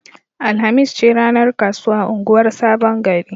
Alhamis ce ranar kasuwa a unguwar Sabon Gari.